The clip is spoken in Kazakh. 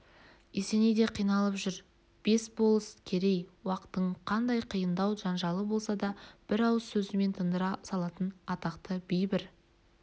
есеней де қиналып жүр бес болыс керей-уақтың қандай қиын дау-жанжалы болса да бір ауыз сөзімен тындыра салатын атақты би бір